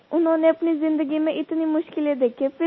sir उन्होंने अपनी ज़िंदगी में इतनी मुश्किलें देखी हैं